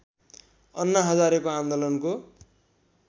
अन्ना हजारेको आन्दोलनको